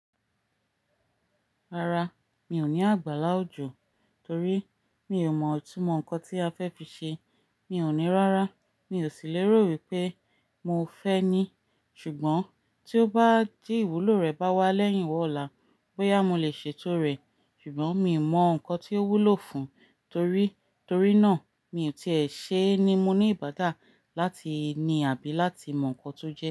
Rárá, mi ò ní àgbàlá òjò torí mi ò mọ̀ itúnmọ̀ nǹkan tí a fẹ́ fi ṣe. Mi ò ní rárá, mi ò sì lérò wípé mo fẹ́ ní. Ṣùgbọ́n tí ó bá di ìwúlò rẹ̀ bá wá lẹ́yìn wa ọ́la, bóyá mo lè ṣètò rẹ̀, ṣùgbọ́n mi mọ̀ nǹkan tí ó wúlò fún un torí, torí náà mi ò tí è ṣe ni mu ní ìbádà láti ní àbí láti mọ̀ nnkan tó jẹ.